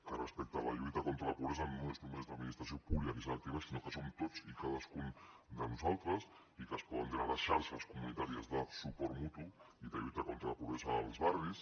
que respecte a la lluita contra la pobresa no és només l’administració pública qui s’ha d’activar sinó que som tots i cadascun de nosaltres i que es poden generar xarxes comunitàries de suport mutu i de lluita contra la pobresa als barris